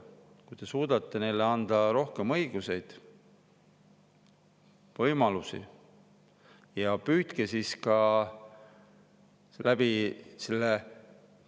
Kui te suudate neile anda rohkem õigusi ja võimalusi, siis püüdke hoida ka ühtset süsteemi.